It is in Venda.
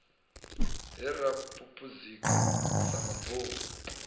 he ra phuphuzika sa mabofu